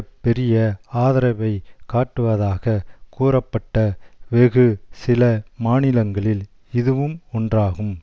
பெரிய ஆதரவை காட்டுவதாக கூறப்பட்ட வெகு சில மாநிலங்களில் இதுவும் ஒன்றாகும்